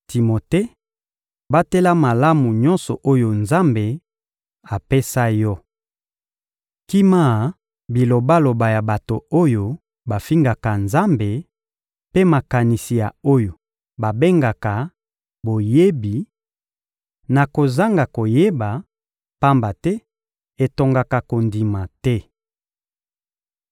Timote, batela malamu nyonso oyo Nzambe apesa yo. Kima bilobaloba ya bato oyo bafingaka Nzambe, mpe makanisi ya oyo babengaka «Boyebi» na kozanga koyeba, pamba te etongaka kondima te.